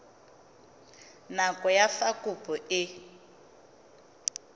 nako ya fa kopo e